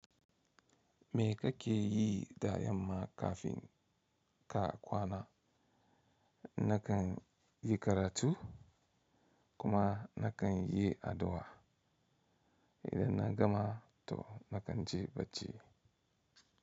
Me kake yi da yamma kafin ka kwana? Nakan yi karatu kuma nakan yi addu’a. Idan na gama to nakan je bacci.